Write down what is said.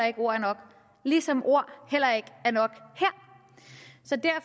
ikke ord er nok ligesom ord heller ikke er nok